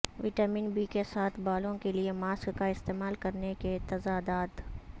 vitamin B کے ساتھ بالوں کے لئے ماسک کا استعمال کرنے کے تضادات